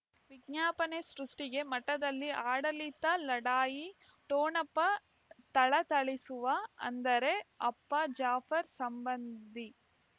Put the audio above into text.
ವಿಜ್ಞಾಪನೆ ಸೃಷ್ಟಿಗೆ ಮಠದಲ್ಲಿ ಆಡಳಿತ ಲಢಾಯಿ ಠೊಣಪ ಥಳಥಳಿಸುವ ಅಂದರೆ ಅಪ್ಪ ಜಾಫರ್ ಸಂಬಂಧಿ